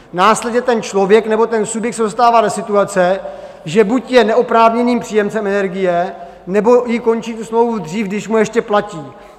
Následně ten člověk nebo ten subjekt se dostává do situace, že buď je neoprávněným příjemcem energie, nebo i končí tu smlouvu dřív, když mu ještě platí.